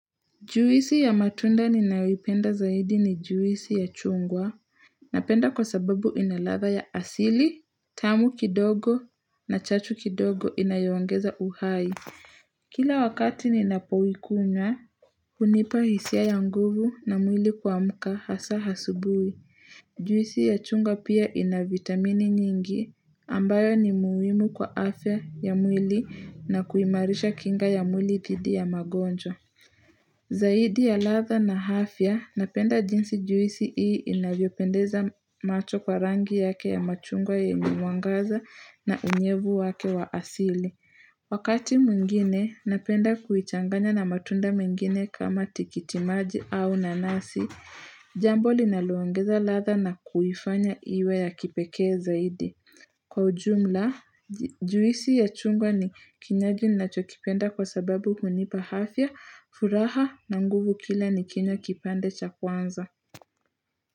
Juwisi ya matunda ninayo ipenda zaidi ni juwisi ya chungwa. Napenda kwa sababu inalatha ya asili, tamu kidogo na chachu kidogo inayo ongeza uhai. Kila wakati ninapo ikunywa, hunipa hisia ya nguvu na mwili kuamka hasa hasubui. Juwisi ya chungwa pia ina vitamini nyingi ambayo ni muhimu kwa afya ya mwili na kuimarisha kinga ya mwili dhidi ya magonjwa. Zaidi ya latha na afya napenda jinsi juisi hii inavyopendeza macho kwa rangi yake ya machungwa yenye mwangaza na unyevu wake wa asili Wakati mwingine napenda kuichanganya na matunda mengine kama tikitimaji au nanasi Jambo linalo ongeza latha na kuifanya iwe ya kipekee zaidi. Kwa ujumla, juisi ya chungwa ni kinywaji ninachokipenda kwa sababu hunipa afya, furaha na nguvu kila nikinywa kipande cha kwanza.